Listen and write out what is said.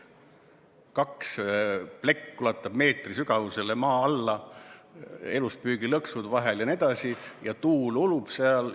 Plekk ulatub meetri sügavusele maa alla, eluspüügilõksud on vahel jne, tuul ulub seal.